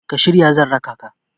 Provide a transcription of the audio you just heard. ka shirya zan raka ka?